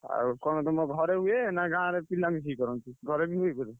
ଆଉ କଣ ତମ ଘରେ ହୁଏ ନା ଗାଁରେ ପିଲା ମିଶିକି କରନ୍ତି ଘରେ ବି ହୁଏ?